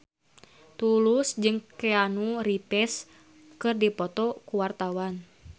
Tulus jeung Keanu Reeves keur dipoto ku wartawan